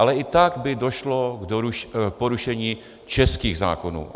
Ale i tak by došlo k porušení českých zákonů.